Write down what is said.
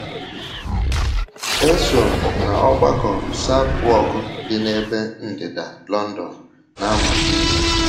“ Eso m Ọgbakọ Southwark dị n’ebe ndịda London na - amụ ihe.